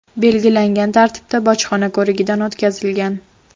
belgilangan tartibda bojxona ko‘rigidan o‘tkazilgan.